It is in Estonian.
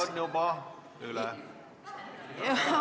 Aeg on juba üle läinud.